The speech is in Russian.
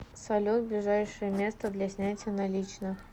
салют ближайшее место для снятия наличных